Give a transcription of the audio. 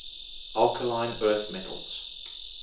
alkaline earth metals